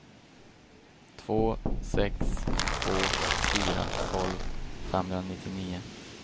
två sex två fyra tolv femhundranittionio